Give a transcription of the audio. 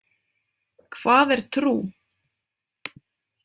Hvað er trú?